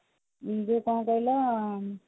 ଯୋଉ କଣ କହିଲ